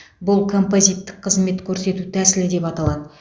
бұл композиттік қызмет көрсету тәсілі деп аталады